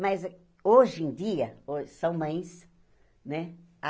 Mas hoje em dia, ho são mães, né?